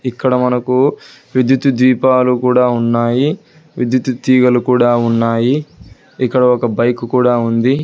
ఇక్కడ మనకు విద్యుతు దీపాలు కూడా ఉన్నాయి విద్యుతు తీగలు కూడా ఉన్నాయి ఇక్కడ ఒక బైక్ కూడా ఉంది.